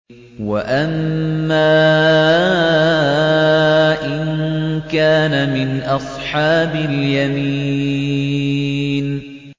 وَأَمَّا إِن كَانَ مِنْ أَصْحَابِ الْيَمِينِ